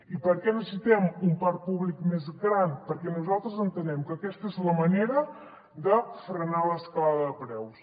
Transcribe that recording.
i per què necessitem un parc públic més gran perquè nosaltres entenem que aquesta és la manera de frenar l’escalada de preus